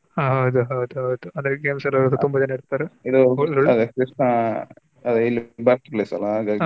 ಹ ಹೌದು ಹೌದು ಹೌದು ಅಂದ್ರೆ